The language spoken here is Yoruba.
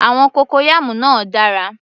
Àwọn cocoyam náà dára